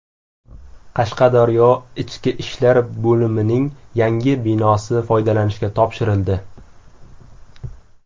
Qashqadaryo IIBning yangi binosi foydalanishga topshirildi.